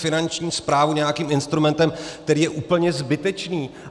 Finanční správu nějakým instrumentem, který je úplně zbytečný.